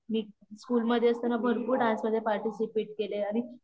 मी school मध्ये असताना भरपूर डान्समध्ये पार्टीसिपेट केलंय आणि